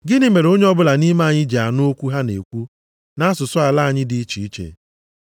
Gịnị mere onye ọbụla nʼime anyị ji na-anụ okwu ha na-ekwu nʼasụsụ ala anyị dị iche iche?